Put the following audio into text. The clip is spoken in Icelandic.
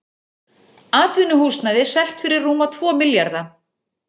Atvinnuhúsnæði selt fyrir rúma tvo milljarða